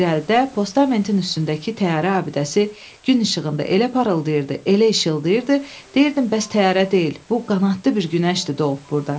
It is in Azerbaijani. İrəlidə postamentin üstündəki təyyarə abidəsi gün işığında elə parıldayırdı, elə işıldayırdı, deyirdin bəs təyyarə deyil, bu qanadlı bir günəşdir doğub burda.